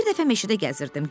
Bir dəfə meşədə gəzirdim.